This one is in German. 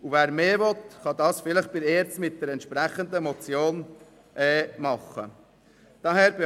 Wer mehr will, kann das vielleicht mit einer entsprechenden Motion bei der ERZ bewirken.